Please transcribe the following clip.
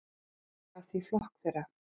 Hann yfirgaf því flokk þeirra.